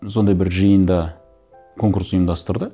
сондай бір жиында конкурс ұйымдастырды